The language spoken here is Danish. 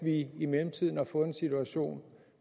vi i mellemtiden har fået en situation